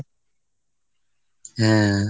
হ্যাঁ।